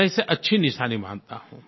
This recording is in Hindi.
मैं इसे अच्छी निशानी मानता हूँ